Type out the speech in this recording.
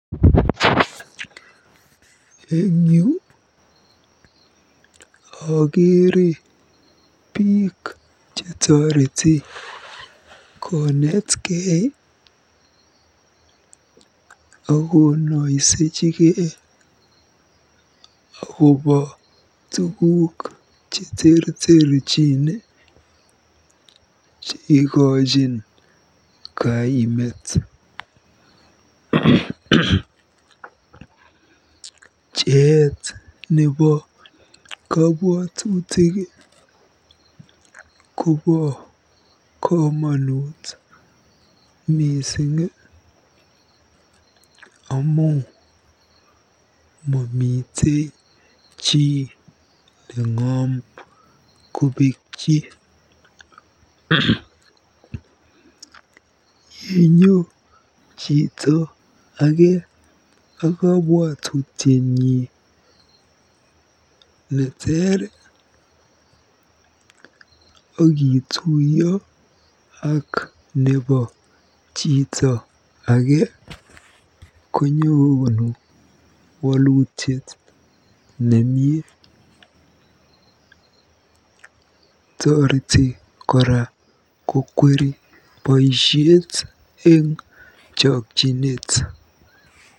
Eng yu akeere biik chetoreti konetkei akonoisechikei akobo tuguuk cheterterchin cheikochin kaimet. Pcheet nebo kobwotutik kobo komonut mising amu mamitei chi neng'om kobekyi. Yenyo chito age a kabwatutiet nyi neter akituiyo ak nebo chito age kokonu wolutiet nemie. Toreti kora kokweri boisiet eng chokchinet.